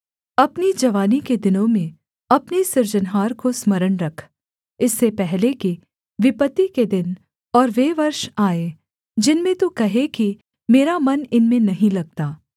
अपनी जवानी के दिनों में अपने सृजनहार को स्मरण रख इससे पहले कि विपत्ति के दिन और वे वर्ष आएँ जिनमें तू कहे कि मेरा मन इनमें नहीं लगता